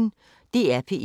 DR P1